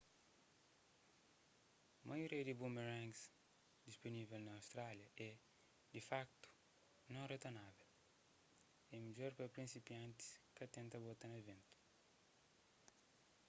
maioria di boomerangs dispunível na austrália é di fakutu non-retornável é midjor pa prinsipiantis ka tenta bota na ventu